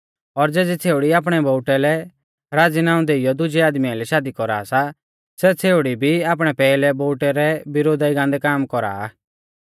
और ज़ेज़ी छ़ेउड़ी आपणै बोउटै लै राज़ीनाऊं देइयौ दुजै आदमी आइलै शादी कौरा सा सै छ़ेउड़ी भी आपणै पैहलै बोउटै रै विरोधा ई गान्दै काम कौरा आ